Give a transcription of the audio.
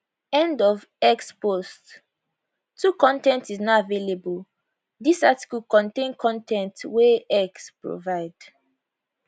end of x post 2 con ten t is not available dis article contain con ten t wey x provide